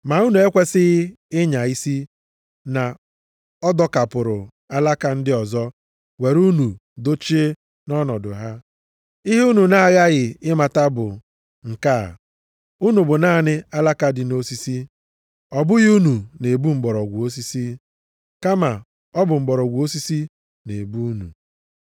Ma unu ekwesighị ịnya isi na a dọkapụrụ alaka ndị ọzọ were unu dochie nʼọnọdụ ha. Ihe unu na-aghaghị ịmata bụ nke a: unu bụ naanị alaka dị nʼosisi. Ọ bụghị unu na-ebu mgbọrọgwụ osisi, kama ọ bụ mgbọrọgwụ osisi na-ebu unu.